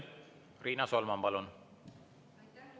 Riina Solman, palun!